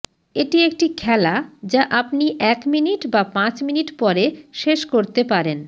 এটি একটি খেলা যা আপনি এক মিনিট বা পাঁচ মিনিট পরে শেষ করতে পারেন